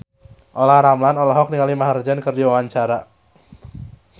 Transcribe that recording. Olla Ramlan olohok ningali Maher Zein keur diwawancara